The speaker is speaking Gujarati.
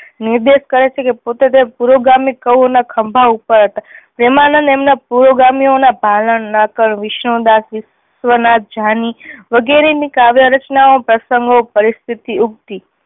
નિર્દેશ કરે છે કે પોતે તે પૂર્વ ગામીક કવિ ના ખંભા ઉપર હતા. પ્રેમાનંદ એમના પૂર્વ ગામીઓ ના ભાલન, નાકર, વિષ્ણુ દાસ વિશ્વ નાથ જાની વગેરેની કાવ્ય રચના ઓ પ્રસંગો પરિસ્થિતિ યુક્તિ